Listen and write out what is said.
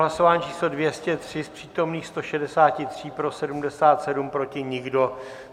Hlasování číslo 203, z přítomných 163 pro 77, proti nikdo.